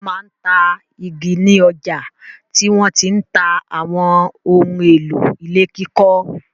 Wọ́n máa ń ta igi ni ọjà tí wọ́n ti ń ta àwọn ohun-èlò ilé kíkọ́.